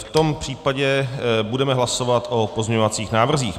V tom případě budeme hlasovat o pozměňovacích návrzích.